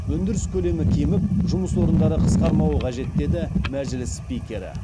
өндіріс көлемі кеміп жұмыс орындары қысқармауы қажет деді мәжіліс спикері